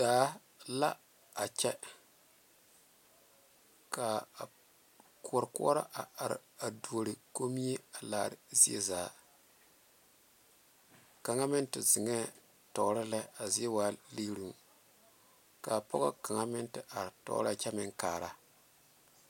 Daa la a kyɛ ka koɔrɔ a are a doro komie laare zie zaa kaŋa meŋ te zeŋe tɔɔre lɛ a zie zaa liŋi lɛ kaa pɔge kaŋa meŋ te are tɔɔre lɛ kyɛ meŋ kaara.